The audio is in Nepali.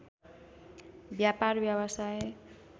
व्यापार व्यवसाय